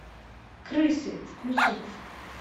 крысы включи